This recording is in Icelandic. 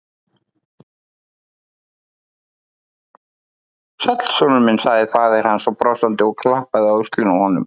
Sæll, sonur minn sagði faðir hans brosandi og klappaði á öxlina á honum.